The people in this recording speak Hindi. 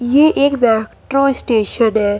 ये एक मेट्रो स्टेशन है।